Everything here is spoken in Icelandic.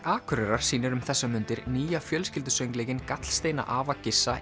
Akureyrar sýnir um þessar mundir nýja fjölskyldusöngleikinn gallsteinar afa